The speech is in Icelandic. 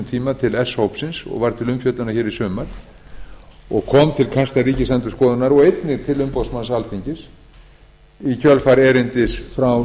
tíma til s hópsins og var til umfjöllunar hér í sumar og kom til kasta ríkisendurskoðunar og einnig til umboðsmanns alþingis í kjölfar erindis frá